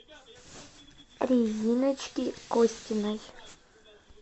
региночки костиной